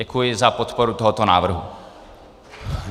Děkuji za podporu tohoto návrhu.